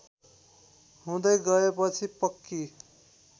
हुँदै गएपछि पक्की